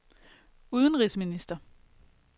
udenrigsminister